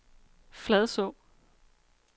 Fladså